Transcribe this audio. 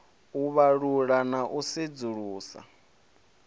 u vhalula na u sedzulusa